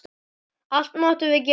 Allt máttum við gera.